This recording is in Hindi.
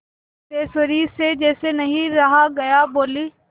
सिद्धेश्वरी से जैसे नहीं रहा गया बोली